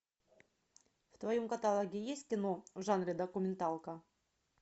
в твоем каталоге есть кино в жанре документалка